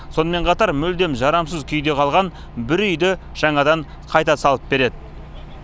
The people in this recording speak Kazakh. сонымен қатар мүлдем жарамсыз күйде қалған бір үйді жаңадан қайта салып береді